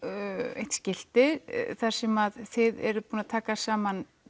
eitt skilti þar sem þið eruð búin að taka saman